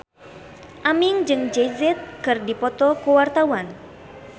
Aming jeung Jay Z keur dipoto ku wartawan